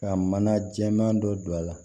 Ka mana jɛman dɔ don a la